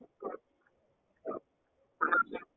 ஆ